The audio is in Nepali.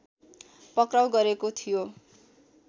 पक्राउ गरेको थियो